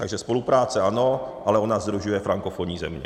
Takže spolupráce ano, ale ona sdružuje frankofonní země.